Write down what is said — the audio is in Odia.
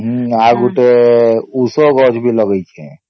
ହମ୍ମ ଆଉ ଗୋଟେ ଉସ ଗଛ ବି ଲଗେଇଛେ